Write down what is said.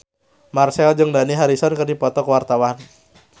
Marchell jeung Dani Harrison keur dipoto ku wartawan